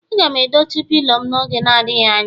Aga m edochi pilo m n'oge adịghị anya